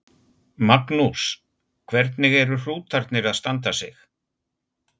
Magnús: Hvernig eru hrútarnir að standa sig?